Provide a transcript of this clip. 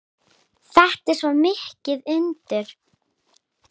Þetta er svo mikið undur.